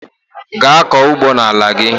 Gaa kọọ ugbo n'ala gị!